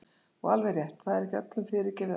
Og alveg rétt, það er ekki öllum fyrirgefið allt.